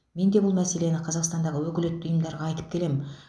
мен де бұл мәселені қазақстандағы өкілетті ұйымдарға айтып келемін